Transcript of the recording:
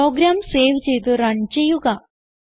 programme save ചെയ്ത് run ചെയ്യുക